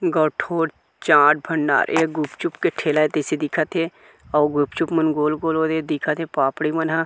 चाट भंडार ए गुपचुप के ठेला ए तइसे दिखत हे आउ गुपचुप मन गोल-गोल और इ दिखत हे पापड़ी मन --